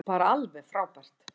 Bara alveg frábært.